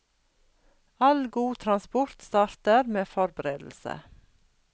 All god transport starter med forberedelse.